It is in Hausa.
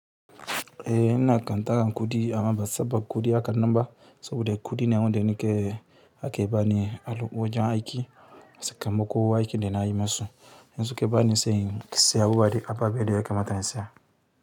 Eh na kan tara kuɗi ama ba saba kuɗi hakan nan ba so bu da kuɗi ne wanda ake bani a wojan aiki saka muko aiki da na yi maso. In soka bani se sai se abu buwa da a vabe da ya kamata na in saya.